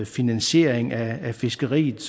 finansiering af fiskeriet